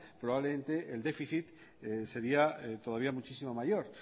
probablemente el déficit sería todavía muchísimo mayor